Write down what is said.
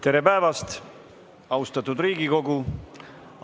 Tere päevast, austatud Riigikogu!